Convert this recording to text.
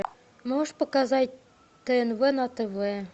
можешь показать тнв на тв